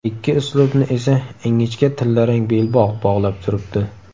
Ikki uslubni esa ingichka tillarang belbog‘ bog‘lab turibdi.